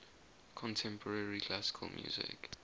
contemporary classical music